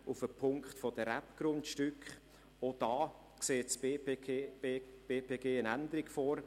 Auch bei den Rebgründstücken sieht das BPG eine Änderung vor.